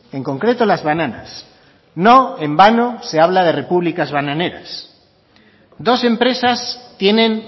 en concreto las bananas no en vano se habla de repúblicas bananeras dos empresas tienen